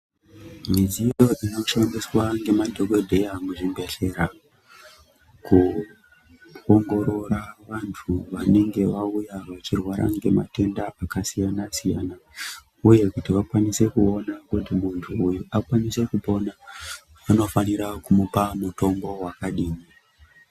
Midziyo inoshandiswa nemadhokodheya muzvibhedhlera kuongorora vanthu vanenge vauya vachirwara ngematenda akasiyana siyana uye kuti vakwanise kuona kuti munthu uyu akwanise kupona vanofanira kumupa mutombo wakadini.